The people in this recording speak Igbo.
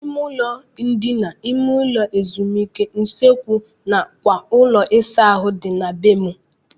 Ime ụlọ ndina, ime ụlọ ezumike, usekwu nakwa ụlọ ịsa ahụ dị na be m.